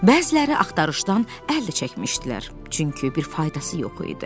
Bəziləri axtarışdan əl də çəkmişdilər, çünki bir faydası yox idi.